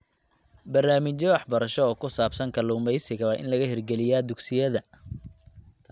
Barnaamijyo waxbarasho oo ku saabsan kalluumeysiga waa in laga hirgeliyaa dugsiyada.